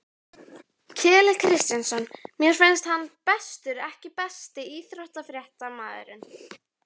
Keli Kristjáns mér finnst hann bestur EKKI besti íþróttafréttamaðurinn?